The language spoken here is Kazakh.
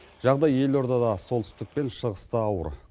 жағдай елордада солтүстік пен шығыста ауыр